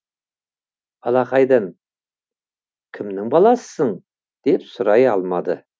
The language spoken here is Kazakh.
бала қайдан кімнің баласысың деп сұрай алмады